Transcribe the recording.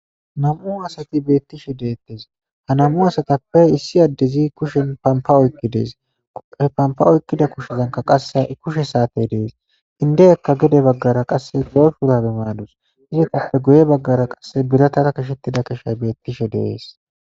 nam,u asati beettishe deettes ha namu asatappe issi addezi kushen pama oykki dees e pampa oykkida kushezanka qasse a7 kushe saate dees hinde ekka gede baggara qasse goyfurabe maadus izitappe goye baggara qasse biratara kishettida keshay beettishe deees